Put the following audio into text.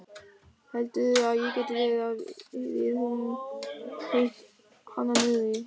Heldurðu að geti verið að við höfum hitt hana niðri?